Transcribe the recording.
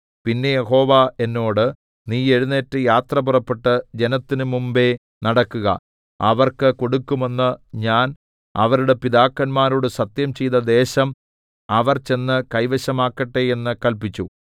പിന്നെ യഹോവ എന്നോട് നീ എഴുന്നേറ്റ് യാത്ര പുറപ്പെട്ട് ജനത്തിന് മുമ്പേ നടക്കുക അവർക്ക് കൊടുക്കുമെന്ന് ഞാൻ അവരുടെ പിതാക്കന്മാരോട് സത്യംചെയ്ത ദേശം അവർ ചെന്ന് കൈവശമാക്കട്ടെ എന്ന് കല്പിച്ചു